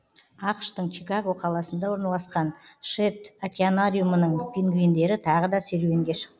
ақш тың чикаго қаласында орналасқан шедд океанариумының пингвиндері тағы да серуенге шықты